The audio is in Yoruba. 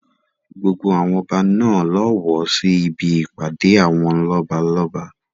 Gbogbo àwọn ọba náà ló wọ sí ibi ìpàdé àwọn lọ́balọ́ba.